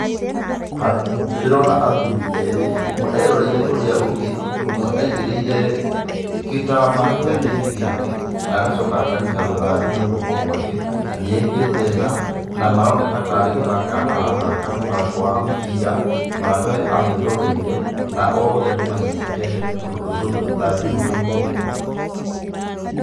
Ndĩrona athuri erĩ, ũmwe eroreire ũrĩa ũngĩ, ũmwe aigĩrĩire gĩtama kĩande-inĩ gĩake, na agacoka akanyita rũthanju na guoko gwake, na nĩ ekĩrĩte tha, na maroneka tarĩ gũthaka arathaka mũthako wa mũbira, mũratawe amwĩroreire, na othe nĩ manyitĩte rũthanju na guoko.